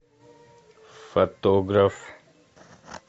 фотограф